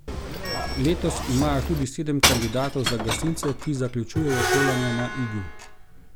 Letos imajo tudi sedem kandidatov za gasilce, ki zaključujejo šolanje na Igu.